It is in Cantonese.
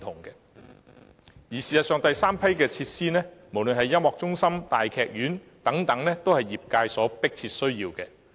事實上，第三批設施，無論是音樂中心或大劇院等，皆是業界迫切需要的。